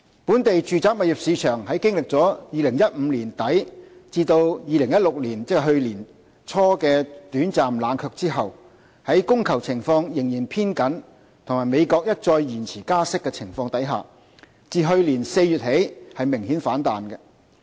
本地住宅物業市場在經歷2015年年底至2016年，即去年年初的短暫冷卻後，在供求情況仍然偏緊及美國一再延遲加息的情況下，自去年4月起明顯反彈。